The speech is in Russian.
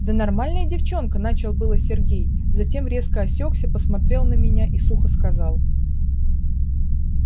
да нормальная девчонка начал было сергей затем резко осекся посмотрел на меня и сухо сказал